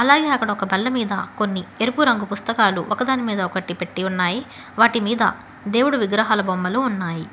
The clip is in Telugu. అలాగే అక్కడ ఒక బల్ల మీద కొన్ని ఎరుపు రంగు పుస్తకాలు ఒకదాని మీద ఒకటి పెట్టీ ఉన్నాయి వాటి మీద దేవుడి విగ్రహాల బొమ్మలు ఉన్నాయి.